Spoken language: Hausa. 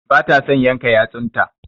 Ba ta son yanka yatsun ta.